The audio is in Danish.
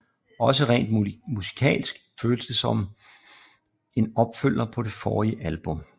Også rent musikalsk føles det som en opfølger på det forrige album